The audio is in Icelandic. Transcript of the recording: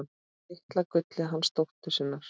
Litla gullið hana dóttur sína.